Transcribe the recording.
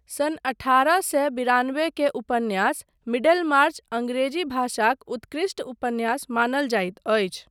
सन अठारह सए बिरानबे के उपन्यास मिडेलमार्च अङ्ग्रेजी भाषाक उत्कृष्ट उपन्यास मानल जाइत अछि।